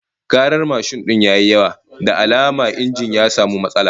Karar mashin din ya yi yawa, da alama injin ya samu matsala